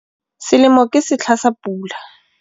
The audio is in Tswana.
Selemo ke setlha sa pula.